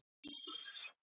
Bíl ekið á grindverk